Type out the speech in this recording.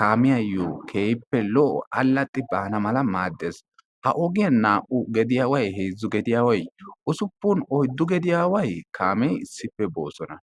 kaamiyaayoo keehippe lo'o allaxxi baana mala maddees. ha ogiyaan naa"u gediyaaway heezzu gediyaaway usuppun oyddun gediyaaway kaamee issippe boosona.